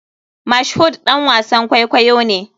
Mashood ɗan wasan kwaikwayo ne.